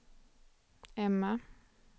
Emma